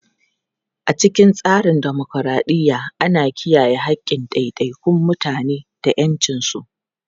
A cikin tsarin dimokuradiyya, ana kiyaye haƙƙin ɗaiɗaikun mutane da ƴancinsu.